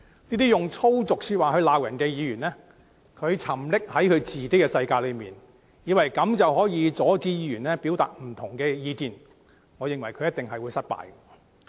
這些用粗俗說話來罵人的議員沉溺在自己的世界中，以為這樣便能阻止其他議員表達不同的意見，我認為他們一定會失敗。